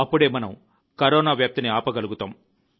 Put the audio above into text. అప్పుడే మనం కరోనా వ్యాప్తిని ఆపగలుగుతాము